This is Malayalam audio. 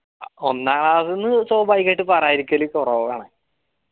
ഒന്നാം എന്ന സ്വാഭാവികയിട്ട് പറയാതിരിക്കല്ല് കൊറവ്വാണ്